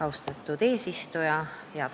Austatud eesistuja!